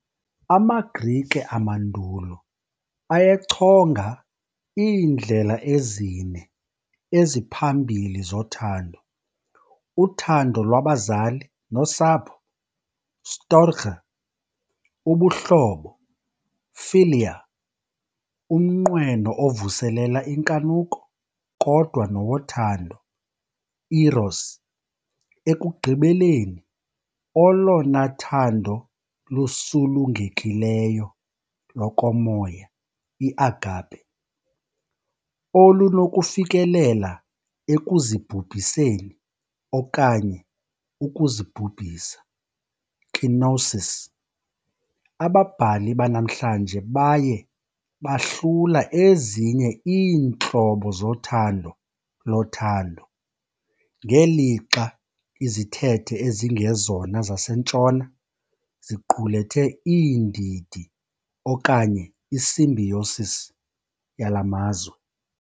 AmaGrike amandulo ayechonga iindlela ezine eziphambili zothando- uthando lwabazali nosapho. "storghé", ubuhlobo, "philia", umnqweno ovuselela inkanuko kodwa nowothando, "eros", ekugqibeleni olona thando lusulungekileyo lokomoya, i"agape", olunokufikelela ekuzibhubhiseni okanye ukuzibhubhisa, "kenosis", ababhali banamhlanje baye bahlula ezinye iintlobo zothando lothando, ngelixa izithethe ezingezona zaseNtshona ziqulethe iindidi okanye i-symbiosis yala mazwe.